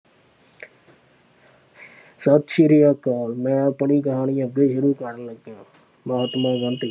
ਸਤਿ ਸ੍ਰੀ ਅਕਾਲ ਮੈਂ ਆਪਣੀ ਕਹਾਣੀ ਅੱਗੇ ਸ਼ੁਰੂ ਕਰਨ ਲੱਗਿਆਂ ਮਹਾਤਮਾ ਗਾਂਧੀ।